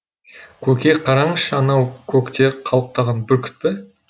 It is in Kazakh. көке қараңызшы анау көкте қалықтаған бүркіт пе